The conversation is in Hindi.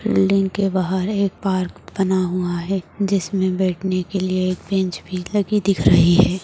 बिल्डिंग के बाहर एक पार्क बना हुआ है जिसमे बैठने के लिए एक बेंच भी लगी देख रही है।